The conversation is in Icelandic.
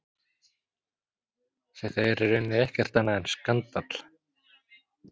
Þetta er í rauninni ekkert annað en skandall.